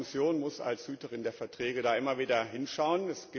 Aber die Kommission muss als Hüterin der Verträge da immer wieder hinschauen.